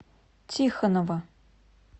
тихонова